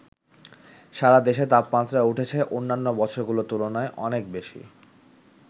সারা দেশে তাপমাত্রা উঠেছে অন্যান্য বছরগুলোর তুলনায় অনেক বেশি।